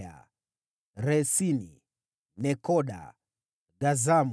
wazao wa Resini, Nekoda, Gazamu,